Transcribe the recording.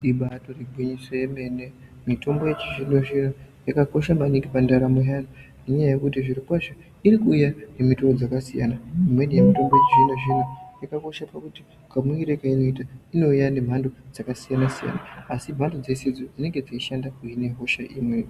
Ibaritori gwinyiso remene mitombo yechizvino zvino yakakosha maningi pandaramo yevantu nenyaya yekuti zvirokwazvo iri kuuya nemutowo dzakasiyana imweni yemitombo yechizvino zvino yakakosha nekuti kamuuyire kaanoita irikuuya nemhando dzakasiyana asimbando dzose idzo dzinenge dzeyishanda kuhine hosha imweyo.